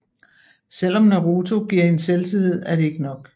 Selvom Naruto giver hende selvtillid er det ikke nok